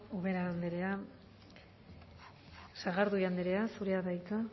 ubera andrea sagardui andrea zurea da hitza